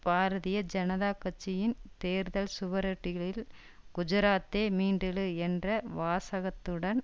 பாரதீய ஜனதா கட்சியின் தேர்தல் சுவரொட்டிகளில் குஜராத்தே மீண்டெழு என்ற வாசகத்துடன்